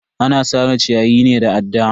Ana sare ciyayi ne da adda.